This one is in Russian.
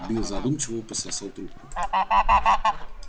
билл задумчиво пососал трубку